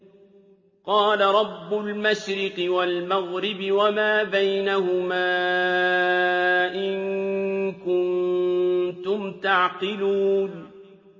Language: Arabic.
قَالَ رَبُّ الْمَشْرِقِ وَالْمَغْرِبِ وَمَا بَيْنَهُمَا ۖ إِن كُنتُمْ تَعْقِلُونَ